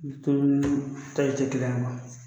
a ma.